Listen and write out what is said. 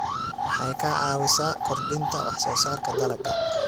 Waxay ka caawisaa kordhinta wax soo saarka dalagga.